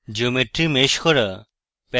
geometry mesh করা